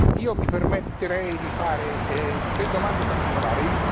Io mi permetterei di fare tre domande particolari.